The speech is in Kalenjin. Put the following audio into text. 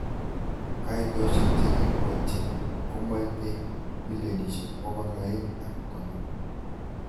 Kaitoshek chekibwotyin komaitei milionishek bokol aeng ak konom.